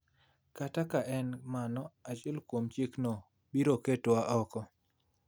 kata ka en mana achiel kuom chikno ibiro ketwa oko.